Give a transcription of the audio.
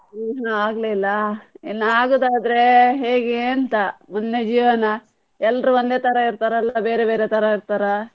ಹ್ಮ್‌ ಹೂ ಆಗ್ಲಿಲ್ಲ, ಇನ್ನು ಆಗುದಾದ್ರೆ ಹೇಗೆ ಅಂತ ಮುಂದೆ ಜೀವನ, ಎಲ್ರೂ ಒಂದೇ ತರ ಇರ್ತಾರ ಇಲ್ಲ ಬೇರೆ ಬೇರೆ ತರ ಇರ್ತಾರ.